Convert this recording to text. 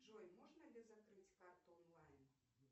джой можно ли закрыть карту онлайн